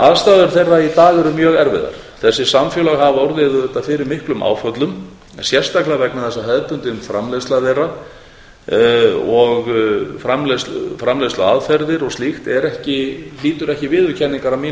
aðstæður þeirra í dag eru mjög erfiðar þessi samfélög hafa orðið auðvitað fyrir miklum áföllum sérstaklega vegna þess að hefðbundin framleiðsla þeirra og framleiðsluaðferðir og slíkt hlýtur ekki viðurkenningar að mínu